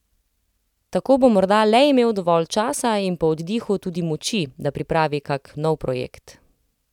Tako bo morda le imel dovolj časa in po oddihu tudi moči, da pripravi kak nov projekt.